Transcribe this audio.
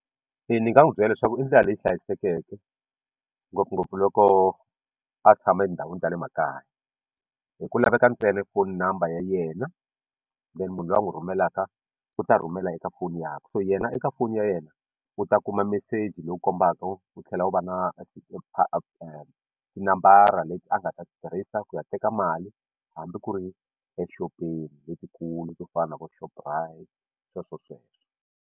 Ni nga n'wi byela leswaku i ndlela leyi hlayisekeke ngopfungopfu loko a tshama etindhawini ta le makaya hi ku laveka ntsena phone number ya yena then munhu loyi a n'wi rhumelaka u ta rhumela eka foni yakwe so yena eka foni ya yena u ta kuma meseji lowu kombaka wu tlhela u va na tinambara leti a nga ta tirhisa ku ya teka mali hambi ku ri exopeni letikulu to fana na vo Shoprite sweswosweswo.